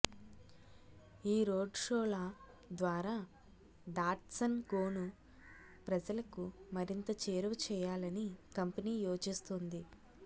ఈ రోడ్ షోల ద్వారా డాట్సన్ గోను ప్రజలకు మరింత చేరువ చేయాలని కంపెనీ యోచిస్తోంది